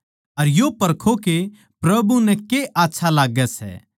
अर यो परखो के प्रभु नै के आच्छा लाग्गै सै